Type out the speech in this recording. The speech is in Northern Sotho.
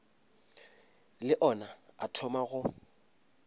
le ona a thoma go